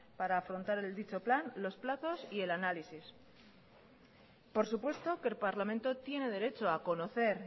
para afrontar dicho plan los plazos y el análisis por supuesto que el parlamento tiene derecho a conocer